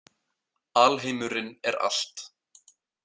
Alheimurinn er allt.